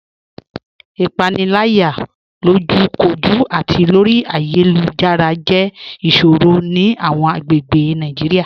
Ipanilaya, lojúkòjú àti lórí ayélujára, jẹ́ iṣòrò ni awọn agbègbè Naijiria.